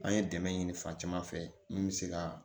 An ye dɛmɛ ɲini fan caman fɛ mun bɛ se ka